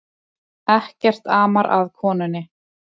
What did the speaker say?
Ekkert amar að konunni